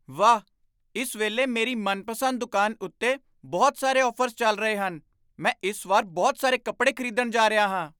ਵਾਹ! ਇਸ ਵੇਲੇ ਮੇਰੀ ਮਨਪਸੰਦ ਦੁਕਾਨ ਉੱਤੇ ਬਹੁਤ ਸਾਰੇ ਔਫਰਜ਼ ਚੱਲ ਰਹੇ ਹਨ। ਮੈਂ ਇਸ ਵਾਰ ਬਹੁਤ ਸਾਰੇ ਕੱਪੜੇ ਖਰੀਦਣ ਜਾ ਰਿਹਾ ਹਾਂ।